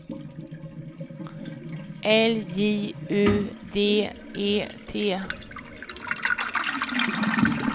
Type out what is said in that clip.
L J U D E T